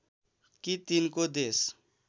कि तिनको देश